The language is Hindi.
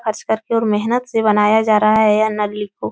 खर्च कर के और मेहनत से बनाया जा रहा है यह नल्ली को --